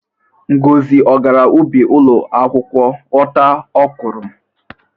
Ngozi ọ gara ubi ụlọ akwụkwọ ghọta ọkwụrụ?